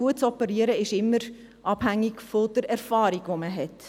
Gutes Operieren ist immer abhängig von der Erfahrung, die man hat.